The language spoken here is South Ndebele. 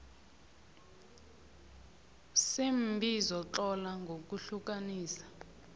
seembizo tlola ngokuhlukanisa